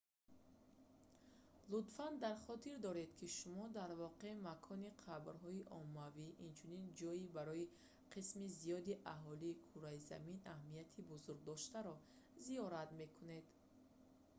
лутфан дар хотир доред ки шумо дар воқеъ макони қабрҳои оммавӣ инчунин ҷойи барои қисми зиёди аҳолии кураи замин аҳамияти бузургдоштаро зиёрат мекунед